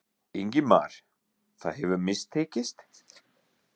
Ingimar: Það hefur mistekist?